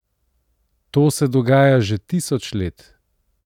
To se dogaja že tisoč let!